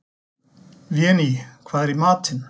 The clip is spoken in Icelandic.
Véný, hvað er í matinn?